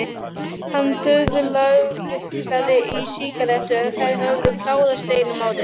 Hann dauðlangaði í sígarettu en þær höfðu klárast deginum áður.